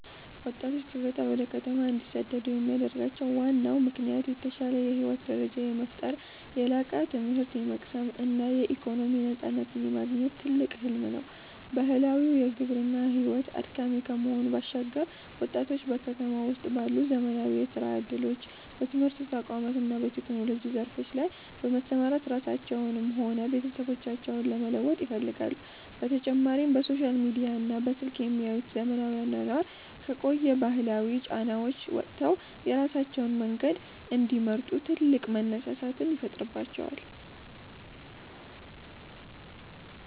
ወጣቶች ከገጠር ወደ ከተማ እንዲሰደዱ የሚያደርጋቸው ዋናው ምክንያት የተሻለ የህይወት ደረጃን የመፍጠር፣ የላቀ ትምህርት የመቅሰም እና የኢኮኖሚ ነፃነትን የማግኘት ትልቅ ህልም ነው። ባህላዊው የግብርና ሕይወት አድካሚ ከመሆኑ ባሻገር፣ ወጣቶች በከተማ ውስጥ ባሉ ዘመናዊ የሥራ ዕድሎች፣ በትምህርት ተቋማት እና በቴክኖሎጂ ዘርፎች ላይ በመሰማራት ራሳቸውንም ሆነ ቤተሰቦቻቸውን መለወጥ ይፈልጋሉ፤ በተጨማሪም በሶሻል ሚዲያና በስልክ የሚያዩት ዘመናዊ አኗኗር ከቆዩ ባህላዊ ጫናዎች ወጥተው የራሳቸውን መንገድ እንዲመርጡ ትልቅ መነሳሳትን ይፈጥርባቸዋል።